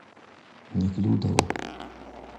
неклюдова